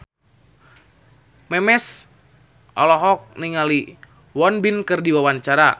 Memes olohok ningali Won Bin keur diwawancara